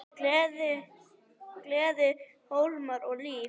Gleði, húmor og líf.